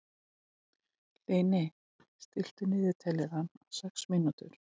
Hlini, stilltu niðurteljara á sex mínútur.